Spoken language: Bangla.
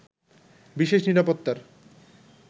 বিশেষ নিরাপত্তার